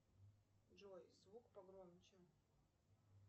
джой звук погромче